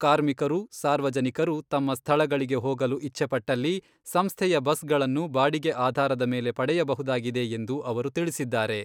ಕಾರ್ಮಿಕರು, ಸಾರ್ವಜನಿಕರು ತಮ್ಮ ಸ್ಥಳಗಳಿಗೆ ಹೋಗಲು ಇಚ್ಛೆಪಟ್ಟಲ್ಲಿ ಸಂಸ್ಥೆಯ ಬಸ್ಗಳನ್ನು ಬಾಡಿಗೆ ಆಧಾರದ ಮೇಲೆ ಪಡೆಯಬಹುದಾಗಿದೆ ಎಂದು ಅವರು ತಿಳಿಸಿದ್ದಾರೆ.